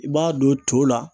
I b'a don to la.